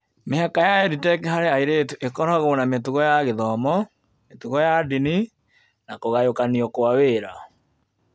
Mĩhaka ya EdTech harĩ airĩtu ĩkoragwo na mĩtugo ya gĩthomo, mĩtugo ya ndini, na kũgayũkanio kwa wĩra.